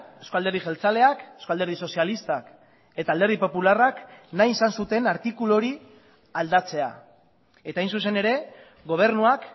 eusko alderdi jeltzaleak eusko alderdi sozialistak eta alderdi popularrak nahi izan zuten artikulu hori aldatzea eta hain zuzen ere gobernuak